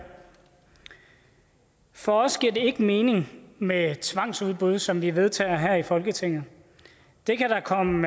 for os giver det ikke mening med tvangsudbud som vi vedtager her i folketinget det kan der komme